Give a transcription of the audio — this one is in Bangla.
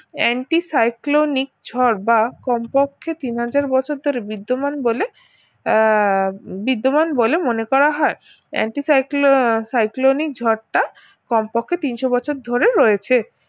anti cyclonic ঝড় বা কমপক্ষে তিন হাজার বছর ধরে বিদ্যমান বলে আহ বিদ্যমান বলে মনে করা হয় anti cyclo~ cyclonic ঝড়টা কমপক্ষে তিনশ বছর ধরে রয়েছে